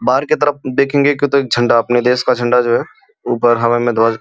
बाहर तरफ देखेंगे के तो एक झंडा अपने देश का झंडा जो है ऊपर हवा में ध्वज --